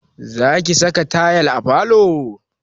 Za ka saka tayal à falo?